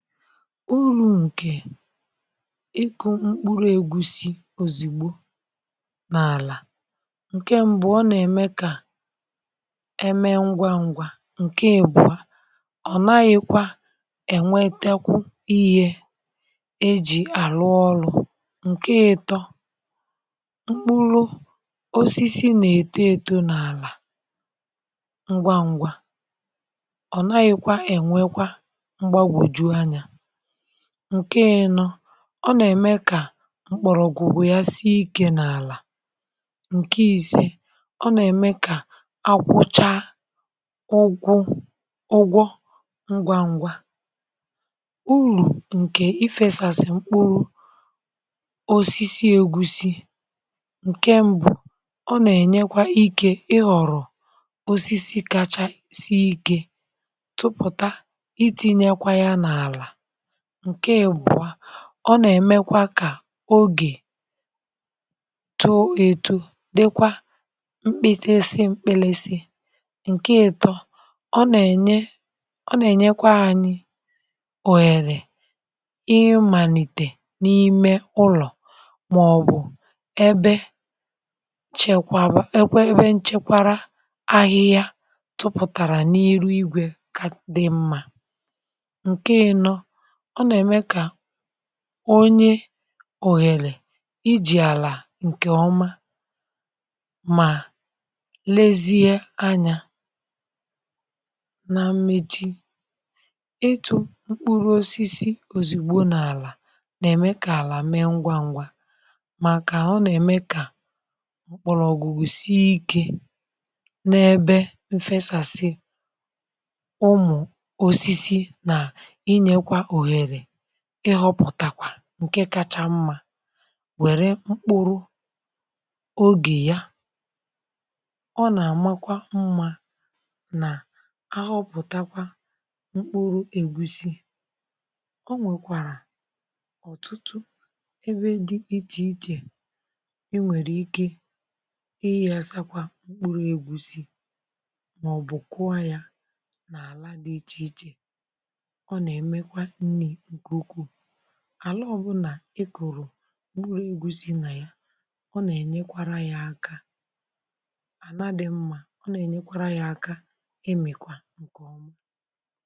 Urù ǹkè ịkụ̇ mkpụrụ̇ ègusi òzigbo n’àlà, ǹke mbu̇ ọ nà-ème kà eme ngwa ngwa, ǹke ìbụ̀ọ ọ̀ nàghị̇kwa ènwetekwu ihė e jì àlụ ọlụ̇, ǹke ịtọ̇ mkpụlụ osisi nà-èto èto n’àlà ngwa ngwa, ọ̀ nàghị̇kwa ènwekwa mgbagwoju anya, ǹke ịnọ̇ ọ nà-ème kà mkpọ̀rọ̀ gwugwù ya sie ikė n’àlà, ǹke i̇sè ọ nà-ème kà akwụcha ụgwụ ụgwọ ngwȧ ngwȧ, urù ǹkè ifėsàsị mkpụrụ osisi ègusi, ǹke mbụ̇ ọ nà-ènyekwa ikė ịhọ̀rọ̀ osisi kachasị ikė tupùta itinyekwa ya n'ala. ǹke ibùa ọ nà-èmekwa kà ogè too ètu dikwa mkpịlisị mkpịlịsị, ǹke ìtọ ọ nà-ènye ọ nà-ènyekwa anyị òhèrè imàlìtè n’ime ulọ̀ màọbụ̀ ebe chekwara ebe nchekwara ahịhịa tụpụ̀tàrà n’iru igwè ka dị mmȧ. Nke ịnọ, ọ nà-ème kà onye ohèlè i jì àlà ǹkè ọma mà lezie anya. Na mmechi, itu mkpụrụ̇osisi ozìgbò n’àlà nà-ème kà àlà mee ngwa ngwa màkà ọ nà-ème kà mkpọrọ̀gwùgwusìe ikė n’ebe m fesàsị ụmụ osisi nakwa inyekwa òhèrè ịhọpụ̀takwa ǹke kacha mmȧ wère mkpụrụ ogè ya, ọ nà-àmakwa mmȧ nà ahọpụ̀takwa mkpụrụ ègusi, ọ nwèkwàrà ọ̀tụtụ ebe dị ichè ichè i nwèrè ike ighasakwa mkpụrụ ègusi màọ̀bụ̀ kụọ ya nà àla dị ichè ichè, ọ nà-èmekwa ihe nke ukwu, àla ọ̀bụ̀nà e kùrù mkpuru egwusi̇ nà ya, ọ nà-ènyekwara yȧ aka, àlà dị mmȧ ọ nà-ènyekwara yȧ aka emìkwa ǹkè ọma.